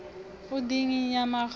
u dzinginya maga a u